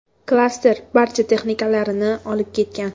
Klaster barcha texnikalarini olib ketgan.